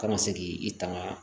Kana se k'i i tanga